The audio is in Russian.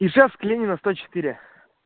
ижевск ленина сто четыре